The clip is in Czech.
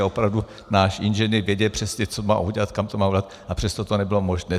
A opravdu náš inženýr věděl přesně, co má udělat, kam to má udělat, a přesto to nebylo možné.